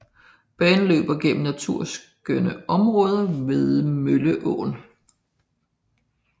Banen løber gennem naturskønne områder ved Mølleåen